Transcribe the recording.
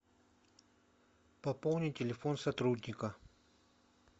пополни телефон сотрудника